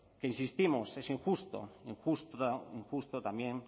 que insistimos es injusto injusto también